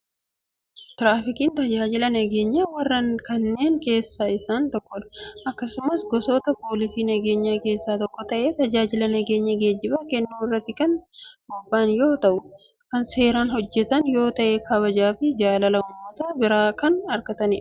Tiraafikiin tajaajila nageenya warreen kennan keessaa isaan tokkodha. Akkasumas gosoota poolisii nageenyaa keessaa tokko ta'ee tajaajila nageenya geejibaa kennuu irratti kan bobba'an yoo ta'u kan seeran hojjetan yoo ta'e kabajaa fi jaalala uummata biraa kan argatanidha.